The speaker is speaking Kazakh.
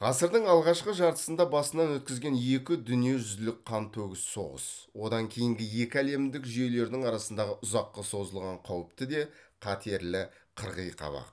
ғасырдың алғашқы жартысында басынан өткізген екі дүниежүзілік қантөгіс соғыс одан кейінгі екі әлемдік жүйелердің арасындағы ұзаққа созылған қауіпті де қатерлі қырғи қабақ